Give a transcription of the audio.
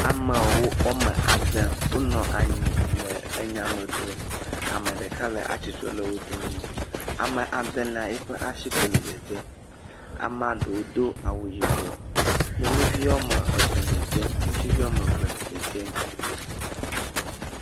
Amewo wɔme ade wonɔ anyi le enya me dzrom. Ame ɖeka le atsitre le wo dome. Ame adelia yiƒe asi koe le dzedzem. Ame ɖewo do awu yibɔ. Nyɔnuvi wɔme etɔ̃ dzedzem. Ŋutsuvi wɔme ve dzedzem.